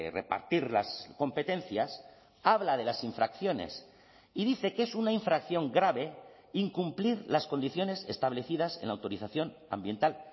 repartir las competencias habla de las infracciones y dice que es una infracción grave incumplir las condiciones establecidas en la autorización ambiental